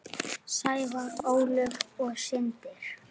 Sævar, Ólöf og synir.